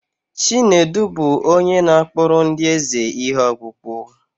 Chinedu bụ onye na-akpụrụ ndị eze ihe ọkpụkpụ.